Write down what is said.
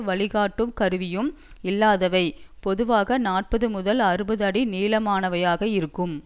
வழிகாட்டும் கருவியும் இல்லாதவை பொதுவாக நாற்பது முதல் அறுபது அடி நீளமானவையாக இருக்கும்